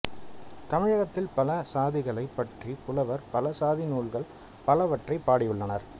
தமிழகத்தில் பல சாதிகளைப் பற்றிப் புலவர் பலர் சாதி நூல்கள் பலவற்றைப் பாடி உள்ளனர்